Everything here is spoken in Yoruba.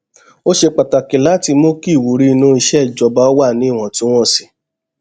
ó ṣe pàtàkì láti mú kí ìwúrí inú iṣẹ ìjọba wà níwọntúnwọnsì